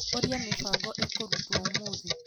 ũrĩa mĩbango ĩkũrutwo ũmũthĩ.